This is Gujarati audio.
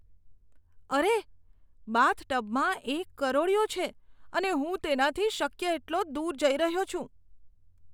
અરે, બાથટબમાં એક કરોળિયો છે અને હું તેનાથી શક્ય તેટલો દૂર જઈ રહ્યો છું.